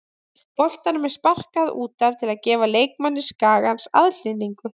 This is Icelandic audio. Boltanum er sparkað út af til að gefa leikmanni Skagans aðhlynningu.